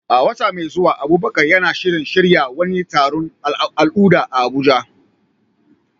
A wata mai zuwa, Abubakar na shirin shirya wani taron al'adu a Abuja.